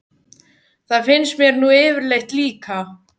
Það finnst mér nú yfirleitt líka.